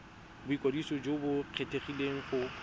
boikwadiso jo bo kgethegileng go